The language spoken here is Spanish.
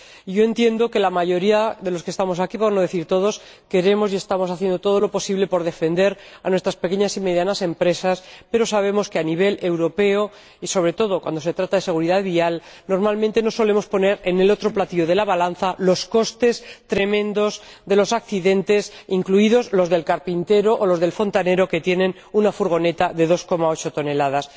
Yo entiendo que la mayoría de los que estamos aquí, por no decir todos, queremos y estamos haciendo todo lo posible por defender a nuestras pequeñas y medianas empresas, pero sabemos que, a nivel europeo, y sobre todo cuando se trata de seguridad vial, normalmente no solemos poner en el otro platillo de la balanza los costes tremendos de los accidentes, incluidos los del carpintero o los del fontanero, que tienen una furgoneta de 2,8 toneladas.